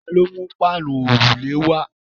Ta ló mú páànù òrùlé wá?